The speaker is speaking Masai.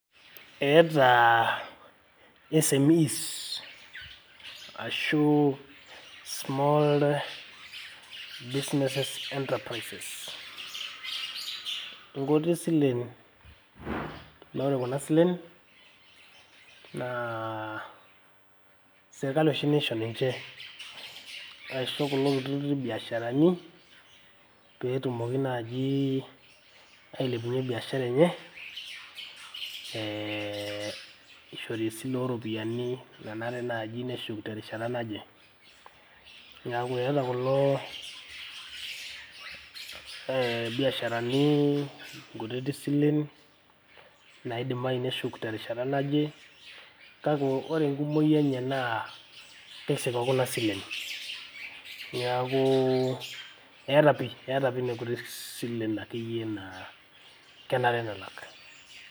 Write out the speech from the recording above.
Eeeta SMEs ashuu small businesses enterprices nkuti silen. Naa ore kuna silen naa sirkali oshi naisho ninche. Ashu kulo kutitik biasharani pee etumoki naaji ailepunyie biashara enye ee ishori esile oo rropiyiani nanare naaji neshuk terishata naje. Niaku eeta kulo ee biasharani nkutiti silen naidimayu neshuk terishata naje. Kake ore enkumoi enye naa keisik o kuna silen. Niaku eeta, pii eeeta pii nkuti silen naa kenare nelak.